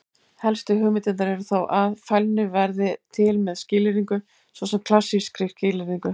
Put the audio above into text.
Helstu hugmyndirnar eru þó að: Fælni verði til með skilyrðingu, svo sem klassískri skilyrðingu.